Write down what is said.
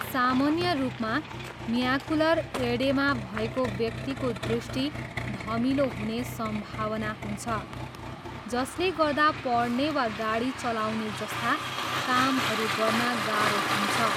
सामन्य रूपमा, macular oedema भएको व्यक्तिको दृष्टि धमिलो हुने सम्भावना हुन्छ, जसले गर्दा पढ्ने वा गाडी चलाउने जस्ता कामहरू गर्न गाह्रो हुन्छ।